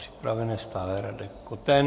Připraven je stále Radek Koten.